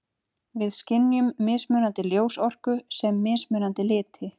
Við skynjum mismunandi ljósorku sem mismunandi liti.